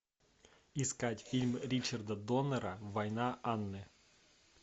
искать фильм ричарда доннора война анны